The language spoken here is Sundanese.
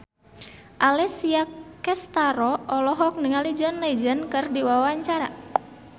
Alessia Cestaro olohok ningali John Legend keur diwawancara